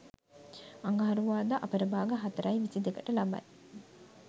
අඟහරුවාදා අපරභාග 04.22 ට ලබයි.